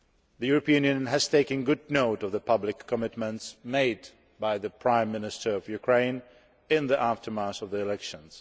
The European Union has taken good note of the public commitments made by the Prime Minister of Ukraine in the aftermath of the elections.